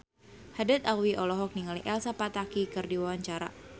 Haddad Alwi olohok ningali Elsa Pataky keur diwawancara